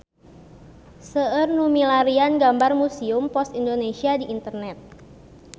Seueur nu milarian gambar Museum Pos Indonesia di internet